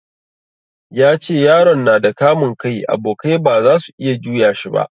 Ya ce yaron nada kamun kai, abokai ba zasu iya juya shi ba